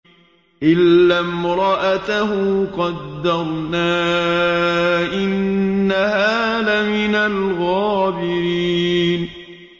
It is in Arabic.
إِلَّا امْرَأَتَهُ قَدَّرْنَا ۙ إِنَّهَا لَمِنَ الْغَابِرِينَ